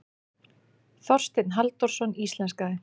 Þorsteinn Halldórsson íslenskaði.